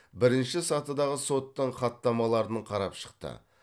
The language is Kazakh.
бірінші сатыдағы соттың хаттамаларын қарап шықты